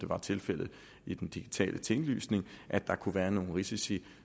var tilfældet i den digitale tinglysning at der kunne være nogle risici